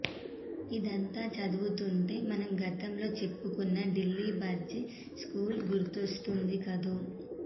ఇదంతా చదువుతుంటే మనం గతంలో చెప్పుకున్న ఢిల్లీ బ్రడ్జి స్కూలు గుర్తొస్తోంది కదూ